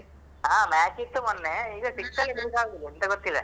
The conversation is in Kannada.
ಹಾ match ಇತ್ತು ಮೊನ್ನೆ. ಈಗ pitch ಅಲ್ಲಿ ಇದ್ರುಸಾ ಆಗುದಿಲ್ಲ ಎಂತ ಗೊತ್ತಿಲ್ಲ